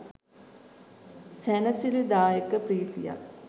සැනසිලිදායක ප්‍රීතියක්.